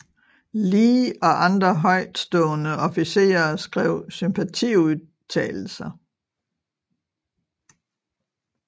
Lee og andre højtstående officerer skrev sympatiudtalalelser